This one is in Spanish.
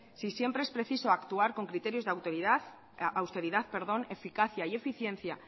si siempre es preciso actuar con criterios de austeridad eficacia y eficiencia